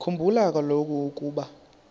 khumbula kaloku ukuba